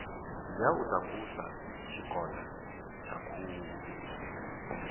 ya u takusa tshikona thakhula